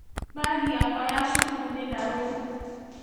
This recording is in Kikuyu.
Mbagi yakwa ya cukuru nĩ ndarũku.